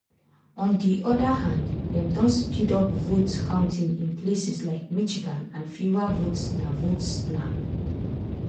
on di oda hand dem don speed up vote-counting in places like michigan and fewer votes na votes na